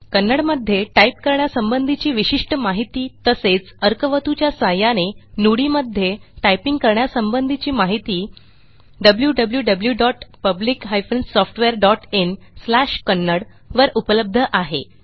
कन्नडमध्ये टाईप करण्यासंबंधीची विशिष्ट माहिती तसेच अर्कावथू च्या सहाय्याने Nudiमध्ये टायपिंग करण्यासंबंधीची माहिती wwwPublic SoftwareinKannada वर उपलब्ध आहे